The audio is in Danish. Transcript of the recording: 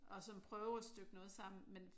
Og så prøve at støbe noget sammen men